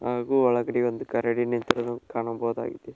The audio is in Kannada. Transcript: ಹಾಗು ಒಳಗಡೆ ಒಂದು ಕರಡಿ ನಿಂತಿರುವುದನ್ನು ಕಾಣಬಹುದಾಗಿದೆ.